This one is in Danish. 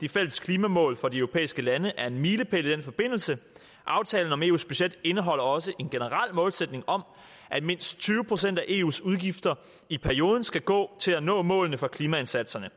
de fælles klimamål for de europæiske lande er en milepæl i den forbindelse aftalen om eus budget indeholder også en generel målsætning om at mindst tyve procent af eus udgifter i perioden skal gå til at nå målene for klimaindsatserne